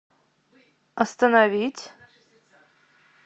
остановить